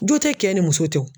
Jo tɛ kɛ ni muso tɛ wo.